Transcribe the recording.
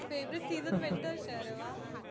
favorite season winter છે. અરે વાહ